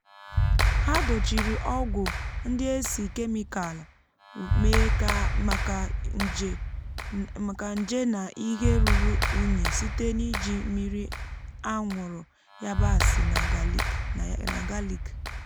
ha dochiri ọgwụ ndị e si kemịkal mee maka nje na ihe ruru unyi site n'iji mmiri anwụrụ yabasị na galik.